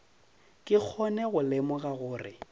ke kgone go lemoga gore